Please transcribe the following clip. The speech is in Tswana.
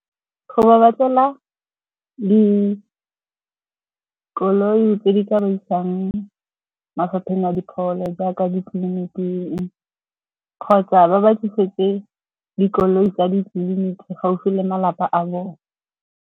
Go ba batlela dikoloi tse di ka ba isang mafapheng a dipholo jaaka ditleliniking, kgotsa ba ba tlisetse dikoloi tsa ditleliniki gaufi le malapa a bone.